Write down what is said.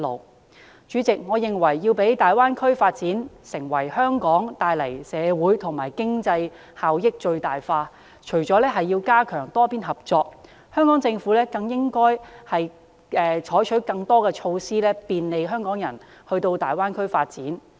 代理主席，我認為要將大灣區發展為香港帶來的社會及經濟效益最大化，除了要加強多邊合作，香港政府更應採取更多措施便利香港人到大灣區發展。